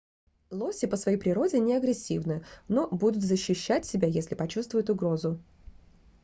лоси по своей природе неагрессивны но будут защищать себя если почувствуют угрозу